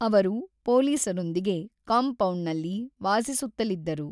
ಅವರು ಪೊಲೀಸರೊಂದಿಗೆ ಕಾಂಪೌಂಡ್‌ನಲ್ಲಿ ವಾಸಿಸುತ್ತಲಿದ್ದರು.